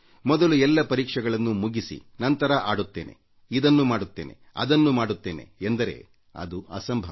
ಮೊದಲು ಎಲ್ಲ ಪರೀಕ್ಷೆಗಳನ್ನು ಮುಗಿಸಿ ನಂತರ ಆಡುತ್ತೇನೆ ಇದನ್ನು ಮಾಡುತ್ತೇನೆ ಅದನ್ನು ಮಾಡುತ್ತೇನೆ ಎಂದರೆ ಅದು ಅಸಂಭವ